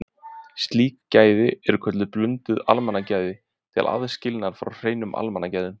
Slík gæði eru kölluð blönduð almannagæði til aðskilnaðar frá hreinum almannagæðum.